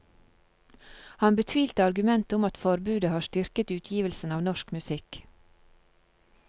Han betvilte argumentet om at forbudet har styrket utgivelsen av norsk musikk.